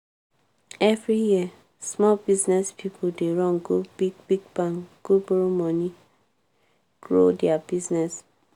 every year small business pipo dey run go big-big bank go borrow money grow dia business.